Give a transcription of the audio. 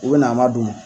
U bɛ na an ma don